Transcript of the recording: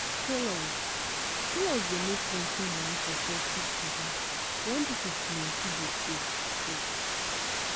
tailors tailors dey make plenti money for festive season wen people plenti dey sew cloth.